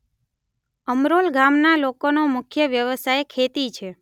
અમરોલ ગામના લોકોનો મુખ્ય વ્યવસાય ખેતી છે.